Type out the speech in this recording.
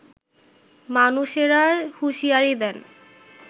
মানুষেরা হুঁশিয়ারি দেন